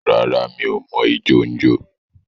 Rárá, m̀í o mọ ijọ n jọ.